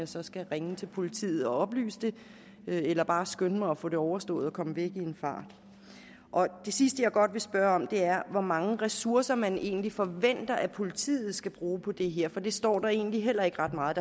så skal ringe til politiet og oplyse det eller bare skynde mig at få det overstået og komme væk i en fart det sidste jeg godt vil spørge om er hvor mange ressourcer man egentlig forventer at politiet skal bruge på det her for det står der egentlig heller ikke ret meget